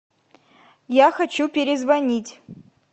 я хочу перезвонить